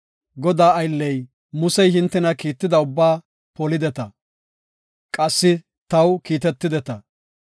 “Godaa aylley Musey hintena kiitida ubbaa polideta; qassi taw kiitetideta.